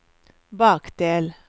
bakdel